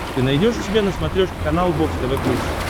ты найдешь у себя на смотрешке канал бокс тв плюс